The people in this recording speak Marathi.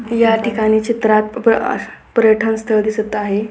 या ठिकाणी चित्रात अस पर्यटन स्थळ दिसत आहे.